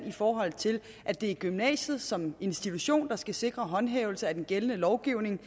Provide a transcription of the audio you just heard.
i forhold til at det er gymnasiet som institution der skal sikre håndhævelse af den gældende lovgivning